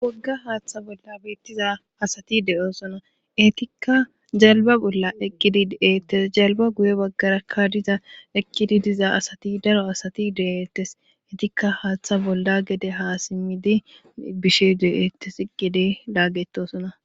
Wogga haaththa bolla beettiza asati de'oosona etikka jalba bolla eqqidi de'ettes jalba guye baggarakka diza eqqidi diza asati daro asati de'ettes etikka haaththa bolla gede ha simmidi bishe deeettes eqede laagetosona.